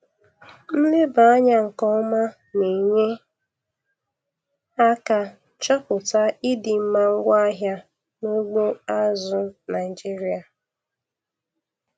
Nleba anya nke ọma na-enye aka chọpụta ịdị mma ngwaahịa n'ugbo azụ̀ Naịjiria.